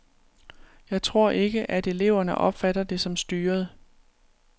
Jeg tror ikke, at eleverne opfatter det som styret.